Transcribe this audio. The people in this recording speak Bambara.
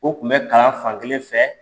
O tun bɛ kalan fan kelen fɛ.